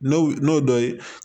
N'o n'o dɔ ye